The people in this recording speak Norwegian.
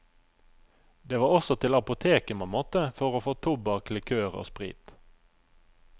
Det var også til apoteket man måtte for å få tobakk, likør og sprit.